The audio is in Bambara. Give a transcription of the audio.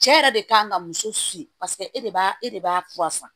Cɛ yɛrɛ de kan ka muso si paseke e de b'a e de b'a fura san